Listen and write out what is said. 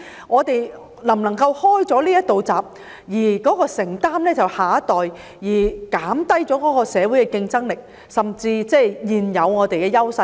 我們是否打開這道閘，由下一代承擔，因而減低社會的競爭力，甚至削弱我們現有的優勢呢？